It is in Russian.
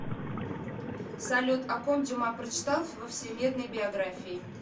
салют о ком дюма прочитал во всемирной биографии